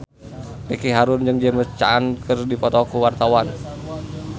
Ricky Harun jeung James Caan keur dipoto ku wartawan